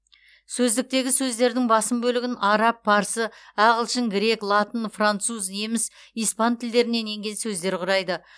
сөздіктегі сөздердің басым бөлігін араб парсы ағылшын грек латын француз неміс испан тілдерінен енген сөздер құрайды